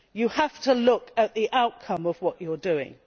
You have to look at the outcome of what you are doing.